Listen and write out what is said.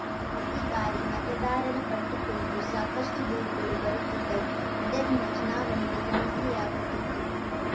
ಪ್ರತಿಬಾರಿ ಮತದಾರರ ಪಟ್ಟಿಕುರಿತು ಸಾಕಷ್ಟುದೂರುಗಳು ಬರುತ್ತಿದ್ದವು ಇದರಿಂದ ಚುನಾವಣೆಗೆ ಸಮಸ್ಯೆಯಾಗುತ್ತಿತ್ತು